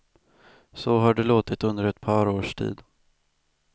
Så har det låtit under ett par års tid.